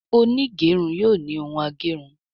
Onigerun yóò ló Òún ageri.